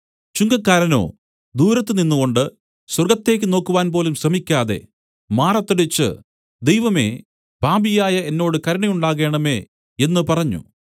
ചുങ്കക്കാരനോ ദൂരത്ത് നിന്നുകൊണ്ടു സ്വർഗ്ഗത്തേക്ക് നോക്കുവാൻപോലും ശ്രമിക്കാതെ മാറത്തടിച്ചു ദൈവമേ പാപിയായ എന്നോട് കരുണയുണ്ടാകേണമേ എന്നു പറഞ്ഞു